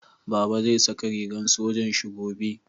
Baba zai saka rigan sojan Shi gobe